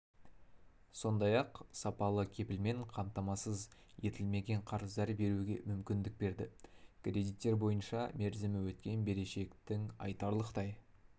сондай-ақ сапалы кепілмен қамтамасыз етілмеген қарыздар беруге мүмкіндік берді кредиттер бойынша мерзімі өткен берешектің айтарлықтай